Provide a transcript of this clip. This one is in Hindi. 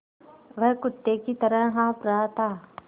वह कुत्ते की तरह हाँफ़ रहा था